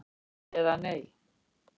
eða Nei?